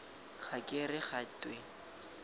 ga ke re ga twe